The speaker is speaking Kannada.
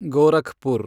ಗೋರಖ್ಪುರ್